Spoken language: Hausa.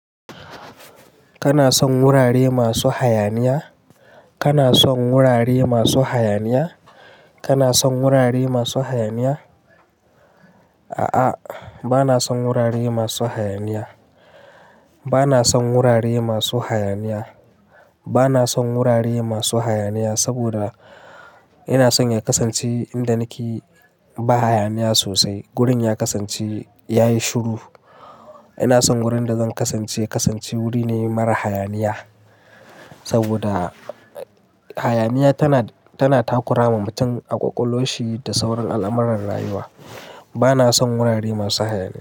Kana son wurare masu hayaniya? Kana son wurare masu hayaniya? Kana son wurare masu hayaniya? A'a, bana son wurare masu hayaniya. Bana son wurare masu hayaniya. Bana son wurare masu hayaniya saboda ina son ya kasance inda nake ba hayaniya sosai. Wurin ya kasance ya yi shiru. Ina son wurin da zan kasance, kasance wuri ne mara hayaniya saboda hayaniya tana, tana takura wa mutum ƙwaƙwalwarshi da sauran al'amurran rayuwa. Bana son wurare masu hayaniya.